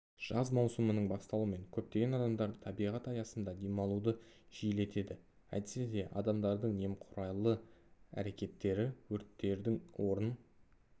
жаз маусымының басталуымен көптеген адамдар табиғат аясында демалуды жиілетеді әйтсе де адамдардық немқұрайлы әрекеттері өрттердің орын